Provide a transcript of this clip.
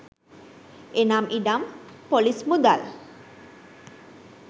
එනම් ඉඩම් ‍පොලිස් මුදල්